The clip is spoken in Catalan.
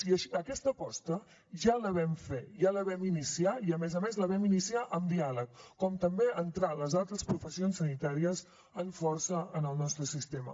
i aquesta aposta ja la vam fer ja la vam iniciar i a més a més la vam iniciar amb diàleg com també entrar les altres professions sanitàries amb força en el nostre sistema